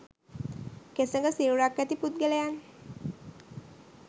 කෙසඟ සිරුරක් ඇති පුද්ගලයන්